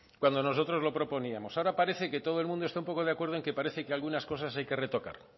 cuando nosotros lo proponíamos ahora parece que todo el mundo está un poco de acuerdo en que parece que algunas cosas hay que retocar